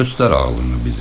Göstər ağlını bizə.